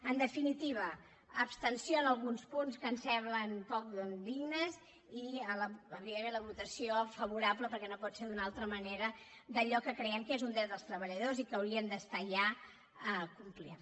en definitiva abstenció en alguns punts que ens semblen poc dignes i evidentment la votació favorable perquè no pot ser d’una altra manera d’allò que creiem que és un dret dels treballadors i que hauria d’estar ja complert